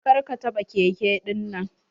Kar ka taɓa keke ɗinnan.